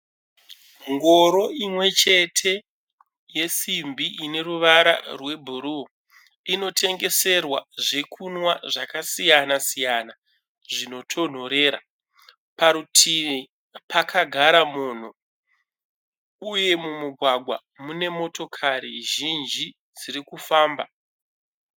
Ngoro imwechete yesimbi ine ruwara rwe bhuruu. Inotengeserwa zvekunwa zvakasiyana siyana zvinotonhorera. Parutivi pakagara munhu uye mumugwaga mune motokari zhinji dzirikufamba.